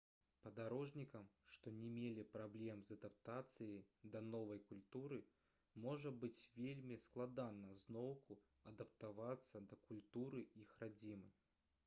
падарожнікам што не мелі праблем з адаптацыяй да новай культуры можа быць вельмі складана зноўку адаптавацца да культуры іх радзімы